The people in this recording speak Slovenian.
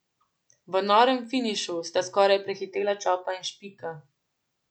V norem finišu sta skoraj prehitela Čopa in Špika.